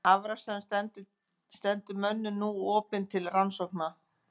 Afraksturinn stendur mönnum nú opinn til rannsókna.